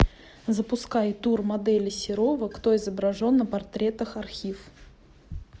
запускай тур модели серова кто изображен на портретах архив